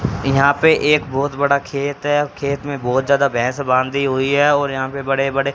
यहां पे एक बहुत बड़ा खेत है खेत में बहुत ज्यादा भैंस बांधी हुई है और यहां पे बड़े बड़े--